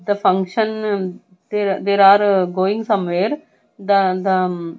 the function they there are going some where the the--